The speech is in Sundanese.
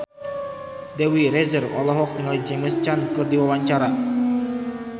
Dewi Rezer olohok ningali James Caan keur diwawancara